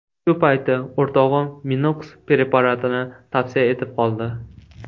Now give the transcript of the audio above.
Shu payti o‘rtog‘im MinoX preparatini tavsiya etib qoldi.